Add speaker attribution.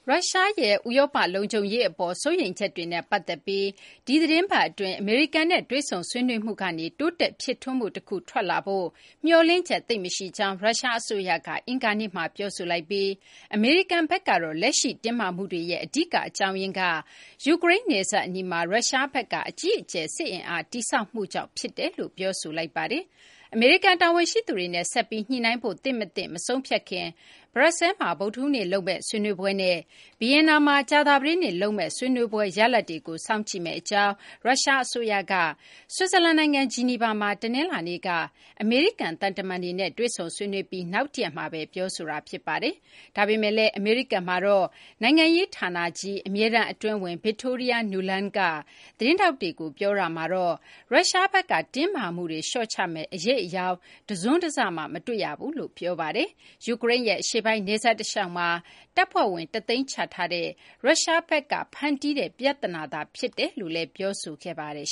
Speaker 1: ရုရှားရဲ့ ဥရောပ လုံခြုံရေး အပေါ် စိုးရိမ်ချက်တွေနဲ့ ပတ်သက်ပြီး ဒီသီတင်းပတ် အတွင်း အမေရိကန်နဲ့ တွေ့ဆုံဆွေးနွေးမှုကနေ တိုးတက် ဖြစ်ထွန်းမှု တခု ထွက်လာဖို့ မျှော်လင့်ချက် သိပ်မရှိကြောင်း ရုရှားအစိုးရက အင်္ဂါနေ့မှာ ပြောဆိုလိုက်ပြီး အမေရိကန်ဘက်ကတော့ လက်ရှိ တင်းမာမှုတွေရဲ့ အဓိကအကြောင်းရင်းက ယူကရိန်းနယ်စပ် အနီးမှာ ရုရှားဘက်က အကြီးအကျယ် စစ်အင်အား တည်ဆောက်မှု ဖြစ်တယ်လို့ ပြောဆိုလိုက်ပါတယ်။ အမေရိကန် တာဝန်ရှိသူတွေနဲ့ ဆက်ပြီး ညှိနှိုင်းဖို့ သင့်မသင့် မဆုံးဖြတ်ခင် ဘရပ်ဆဲလ်မှာ ဗုဒ္ဓဟူးနေ့ လုပ်မယ့် ဆွေးနွေးပွဲနဲ့ ဗီယင်နာမှာ ကြာသပတေးနေ့ လုပ်မယ့် ဆွေးနွေးပွဲ ရလဒ်တွေကို စောင့်ကြည့်မယ့် အကြောင်း ရုရှားအစိုးရက ဆွစ်ဇာလန် နိုင်ငံ ဂျီနီဗာမှာ တနလာၤနေ့က အမေရိကန် သံတမန်တွေနဲ့ တွေ့ဆုံဆွေးနွေးပြီး နောက်တရက်မှာဘဲ ပြောဆိုတာဖြစ်ပါတယ်။ ဒါပေမယ့်လည်း အမေရိကန်မှာတော့ နိုင်ငံရေးဌာနကြီး အမြဲတမ်းအတွင်းဝန် Victoria Nuland က သတင်းထောက်တွေကို ပြောဆိုတာမှာတော့ ရုရှားဘက်က တင်းမာမှုတွေ လျှော့ချမယ့် အရိပ်အယောင် တစွန်းတစမှ မတွေ့ရကြောင်း ပြောဆိုပါတယ်။ ယူကရိန်းရဲ့ အရှေ့ပိုင်းနယ်စပ် တလျှောက်မှာ တပ်ဖွဲ့ဝင် ၁၀၀,၀၀၀ ချထားတဲ့ ရုရှားဘက်က ဖန်တီးတဲ့ ပြသနာသာ ဖြစ်တယ်လို့လည်း ပြောဆိုခဲ့ပါတယ်